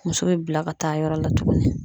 Muso bɛ bila ka taa yɔrɔ la tuguni